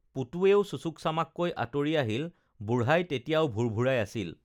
পুতুৱেও চুচুকচামাককৈ আঁতৰি আহিল বুঢ়াই তেতিয়াও ভোৰভোৰাই আছিল